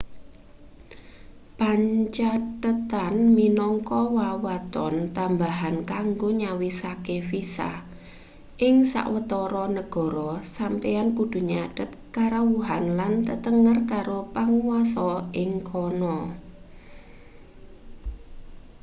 pancathetan minangka wewaton tambahan kanggo nyawisake visa ing sawetara negara sampeyan kudu nyathet karawuhan lan tetenger karo panguwasa ing kana